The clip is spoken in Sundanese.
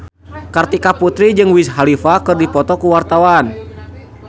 Kartika Putri jeung Wiz Khalifa keur dipoto ku wartawan